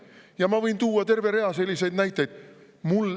Ja ma võin tuua terve rea selliseid näiteid.